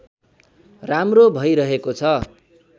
राम्रो भैरहेको छ